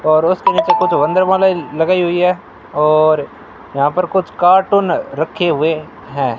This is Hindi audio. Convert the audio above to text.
और उसके नीचे कुछ लगाई हुई है और यहां पर कुछ कार्टून रखे हुए है।